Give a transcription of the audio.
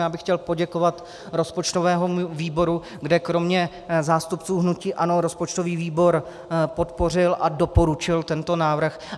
Já bych chtěl poděkovat rozpočtovému výboru, kde kromě zástupců hnutí ANO rozpočtový výbor podpořil a doporučil tento návrh.